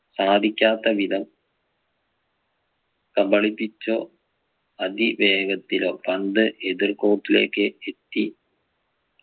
സാധിക്കാത്ത വിധം കബളിപ്പിച്ചോ അതിവേഗത്തിലോ പന്ത് എതിർ court ലേക്ക് എത്തി